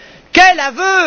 Quel aveu!